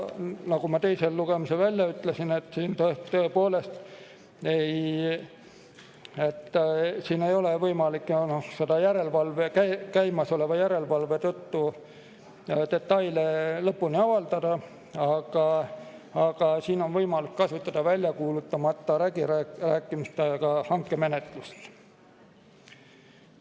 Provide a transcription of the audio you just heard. Nagu ma teisel lugemisel ütlesin, tõepoolest ei ole võimalik käimasoleva järelevalve tõttu detaile lõpuni avaldada, aga siin on võimalik kasutada väljakuulutamata läbirääkimistega hankemenetlust.